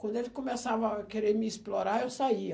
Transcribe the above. Quando eles começavam a querer me explorar, eu saía.